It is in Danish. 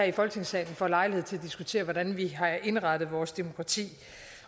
i folketingssalen får lejlighed til at diskutere hvordan vi har indrettet vores demokrati